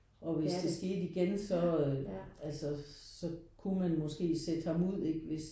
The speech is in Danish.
Og hvis det skete igen så øh altså så kunne man måske sætte ham ud ikke hvis